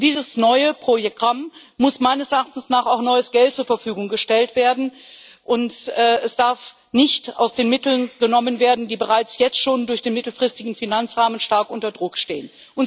Für dieses neue Programm muss meines Erachtens auch neues Geld zur Verfügung gestellt werden, und es darf nicht aus den Mitteln genommen werden, die bereits jetzt schon durch den mittelfristigen Finanzrahmen stark unter Druck stehen.